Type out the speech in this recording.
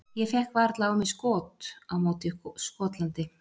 Ég fékk varla á mig skot á móti Skotlandi.